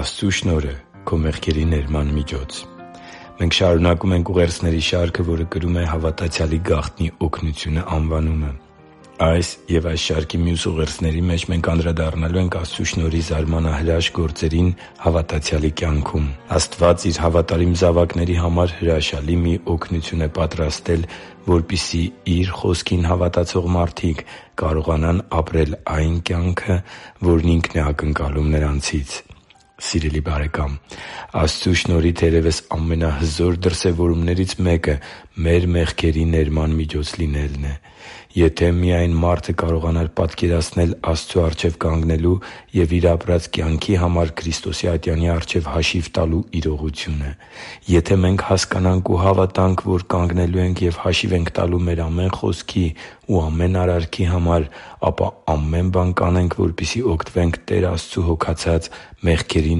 Աստծու շնորհը՝ քո մեղքերի ներման միջոց Մենք շարունակում ենք ուղերձների շարքը, որը կրում է «Հավատացյալի գաղտնի օգնությունը» անվանումը։ Այս և այս շարքի մյուս ուղերձների մեջ մենք անդրադառնալու ենք Աստծու շնորհի զարմանահրաշ գործերին հավատացյալի կյանքում։ Աստված Իր հավատարիմ զավակների համար հրաշալի մի օգնություն է պատրաստել, որպեսզի Իր Խոսքին հավատացող մարդիկ կարողանան ապրել այն կյանքը, որն Ինքն է ակնկալում նրանցից։ Սիրելի՛ բարեկամ, Աստծու շնորհի, թերևս, ամենահզոր դրսևորումներից մեկը մեր մեղքերի ներման միջոց լինելն է։ Եթե միա՜յն մարդը կարողանար պատկերացնել Աստծու առջև կանգնելու և իր ապրած կյանքի համար Քրիստոսի ատյանի առջև հաշիվ տալու իրողությունը․․․ Եթե մենք հասկանանք ու հավատանք, որ կանգնելու ենք և հաշիվ ենք տալու մեր ամեն խոսքի ու ամեն արարքի համար, ապա ամեն բան կանենք, որպեսզի օգտվենք Տեր Աստծու հոգացած մեղքերի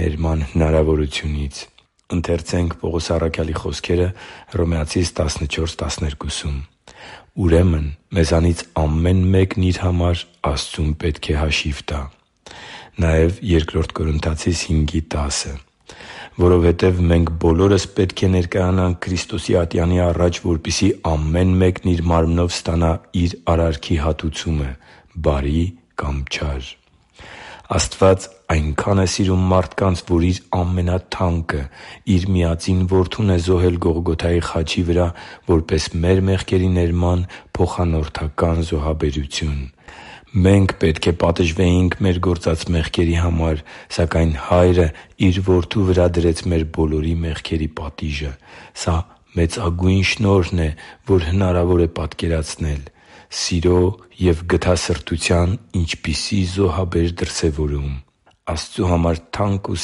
ներման հնարավորությունից։ «Ուրեմն մեզանից ամեն մեկն իր համար Աստծուն պետք է հաշիվ տա» (Հռոմեացիս 14․12): «Որովհետև մենք բոլորս պետք է ներկայանանք Քրիստոսի ատյանի առաջ, որպեսզի ամեն մեկն իր մարմնով ստանա իր արարքի հատուցումը՝ բարի կամ չար» (Բ Կորնթացիներին 5.10): Աստված այնքա՜ն շատ է սիրում մարդկանց, որ Իր ամենաթանկը՝ Իր միածին Որդուն է զոհել Գողգոթայի խաչի վրա՝ որպես մեր մեղքերի ներման փոխանորդական զոհաբերություն։ Մենք պետք է պատժվեինք մեր գործած մեղքերի համար, սակայն Հայրը Իր Որդու վրա դրեց մեր բոլորի մեղքերի պատիժը։ Սա մեծագույն շնորհն է, որ հնարավոր է պատկերացնել։ Սիրո և գթասրտության ինչպիսի՜ զոհաբեր դրսևորում․․․ Աստծու համար թանկ ու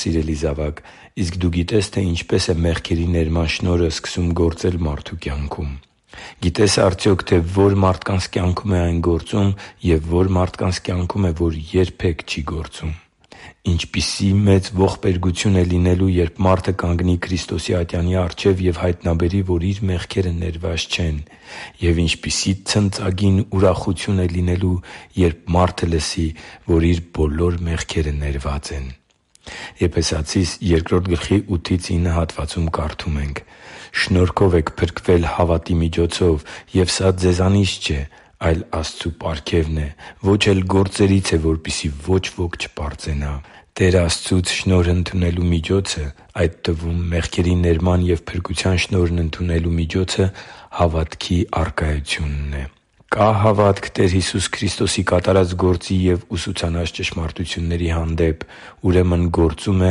սիրելի՛ զավակ, իսկ դու գիտե՞ս, թե ինչպես է մեղքերի ներման շնորհը սկսում գործել մարդու կյանքում։ Գիտե՞ս արդյոք, թե ո՛ր մարդկանց կյանքում է այն գործում և ո՛ր մարդկանց կյանքում է, որ այն երբե՛ք չի գործում։ Ինչպիսի՜ մեծ ողբերգություն է լինելու, երբ մարդը կանգնի Քրիստոսի ատյանի առջև և հայտնաբերի, որ իր մեղքերը ներված չեն։ Եվ ինչպիսի՜ ցնծագին ուրախություն է լինելու, երբ մարդը լսի, որ իր բոլոր մեղքերը ներված են․․․ «Շնորհով եք փրկվել հավատի միջոցով, և սա ձեզանից չէ, այլ Աստծու պարգևն է։ Ոչ էլ գործերից է, որպեսզի ոչ ոք չպարծենա» (Եփեսացիս 2․8-9): Տեր Աստծուց շնորհ ընդունելու միջոցը, այդ թվում՝ մեղքերի ներման և փրկության շնորհն ընդունելու միջոցը հավատքի առկայությունն է։ Կա՞ հավատք Տեր Հիսուս Քրիստոսի կատարած գործի և ուսուցանած ճշմարտությունների հանդեպ, ուրեմն գործում է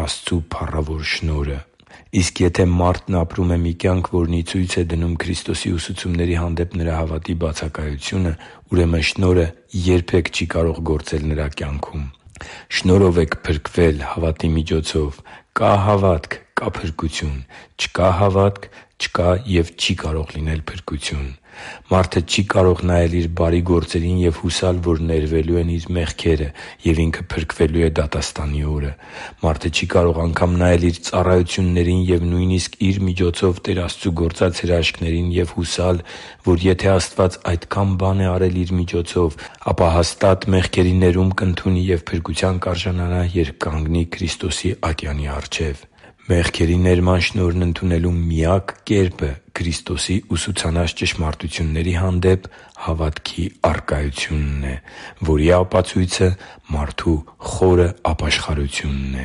Աստծու փառավոր շնորհը։ Մարդն ապրում է մի կյանք, որն ի ցույց է դնում Քրիստոսի ուսուցումների հանդեպ նրա հավատքի բացակայությո՞ւնը, ուրեմն շնորհը երբե՛ք չի կարող գործել նրա կյանքում։ Շնորհով եք փրկվել հավատի միջոցով։ Կա՞ հավատք, կա՛ փրկություն։ Չկա՞ հավատք, չկա և չի կարող լինել փրկություն։ Մարդը չի կարող նայել իր բարի գործերին և հուսալ, որ ներվելու են իր մեղքերը, և ինքը փրկվելու է դատաստանի օրը։ Մարդը չի կարող անգամ նայել իր ծառայություններին և նույնիսկ իր միջոցով Տեր Աստծու գործած հրաշքներին ու հուսալ, որ եթե Աստված այդքան բան արել է իր միջոցով, ապա հաստատ մեղքերի ներում կընդունի և փրկության կարժանանա, երբ կանգնի Քրիստոսի ատյանի առջև։ Մեղքերի ներման շնորհն ընդունելու միակ կերպը Քրիստոսի ուսուցանած ճշմարտությունների հանդեպ հավատքի առկայությունն է, որի ապացույցը մարդու խորը ապաշխարությունն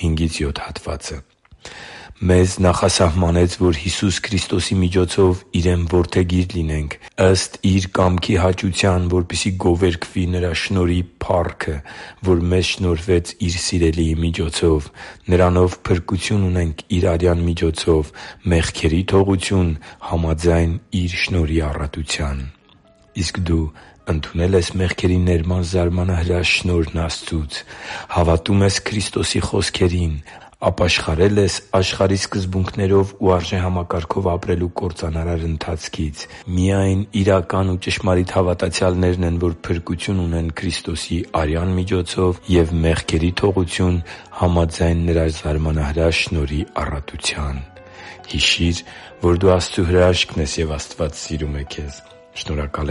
է։ «Մեզ նախասահմանեց, որ Հիսուս Քրիստոսի միջոցով Իրեն որդեգիր լինենք՝ ըստ Իր կամքի հաճության, որպեսզի գովերգվի Նրա շնորհի փառքը, որ մեզ շնորհվեց Իր Սիրելիի միջոցով։ Նրանով փրկություն ունենք Իր արյան միջոցով, մեղքերի թողություն՝ համաձայն Իր շնորհի առատության» (Եփեսացիս 1․5-7): Իսկ դու ընդունե՞լ ես մեղքերի ներման զարմանահրաշ շնորհն Աստծուց։ Հավատո՞ւմ ես Քրիստոսի խոսքերին․․․ Ապաշխարե՞լ ես աշխարհի սկզբունքներով ու արժեհամակարգով ապրելու կործանարար ընթացքից․․․ Միայն իրական ու ճշմարիտ հավատացյալներն են, որ փրկություն ունեն Քրիստոսի արյան միջոցով և մեղքերի թողություն՝ համաձայն Նրա զարմանահրաշ շնորհի առատության․․․ Հիշի՛ր, որ դու Աստծո հրաշքն ես, և Աստված սիրում է քեզ։ Շնորհակալ